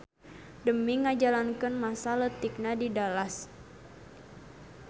Demi ngajalakeun masa leutikna di Dallas.